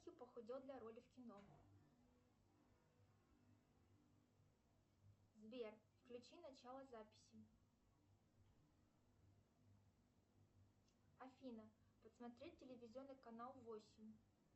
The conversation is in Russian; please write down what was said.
похудел для роли в кино сбер включи начало записи афина посмотреть телевизионный канал восемь